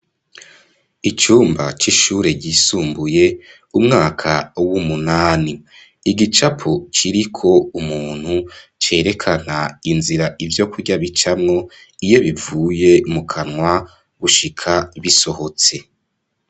Icumba c'ishuri ryisumbuye umwaka w'umunani igicapo kiriko umuntu cerekana inzira ivyo kurya bicamwo iyo bivuye mu kanwa gushika bisohotse.